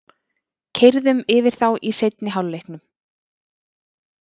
Keyrðum yfir þá í seinni hálfleiknum